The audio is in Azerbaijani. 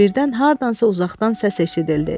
Birdən hardansa uzaqdan səs eşidildi.